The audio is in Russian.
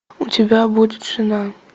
у тебя будет жена